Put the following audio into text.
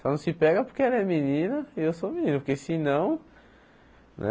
Só não se pega porque ela é menina e eu sou menino, porque senão, né?